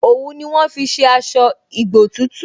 Òwú ni wọ́n fi ṣe aṣọ ìgbotútù